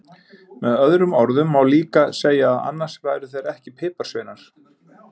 Með öðrum orðum má líka segja að annars væru þeir ekki piparsveinar!